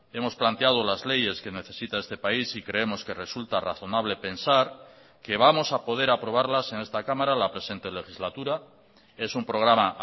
hemos planteado las leyes que necesita este país y creemos que resulta razonable pensar que vamos a poder aprobarlas en esta cámara la presente legislatura es un programa